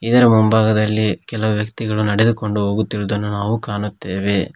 ಇದರ ಮುಂಭಾಗದಲ್ಲಿ ಕೆಲವು ವ್ಯಕ್ತಿಗಳು ನಡೆದುಕೊಂಡು ಹೋಗುತ್ತಿರುದನ್ನು ನಾವು ಕಾಣುತ್ತೆವೆ.